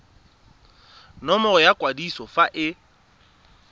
nomoro ya kwadiso fa e